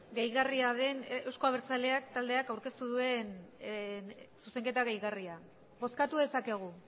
gehigarria den euzko abertzaleak taldeak aurkeztu duen zuzenketa gehigarria bozkatu dezakegu